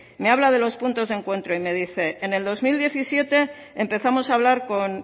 me habla de los puntos de encuentro y me dice en el dos mil diecisiete empezamos a hablar con